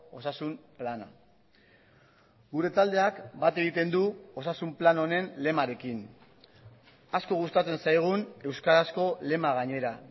osasun plana gure taldeak bat egiten du osasun plan honen lemarekin asko gustatzen zaigun euskarazko lema gainera